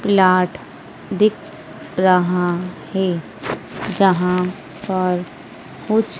plot दिख रहा है जहां पर कुछ--